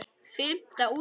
Fimmta útgáfa.